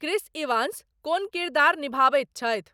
Chris Evans कोन किरदार निभाबैत छथि